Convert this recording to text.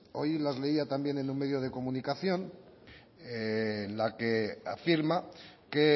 hoy las leía también en un medio de comunicación en la que afirma que